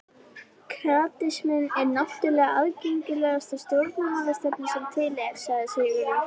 Kratisminn er náttúrlega aðgengilegasta stjórnmálastefna sem til er, sagði Sigurður.